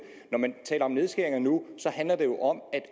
når man taler om nedskæringer nu handler det jo om